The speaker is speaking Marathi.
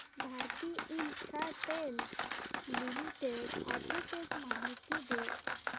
भारती इन्फ्राटेल लिमिटेड आर्बिट्रेज माहिती दे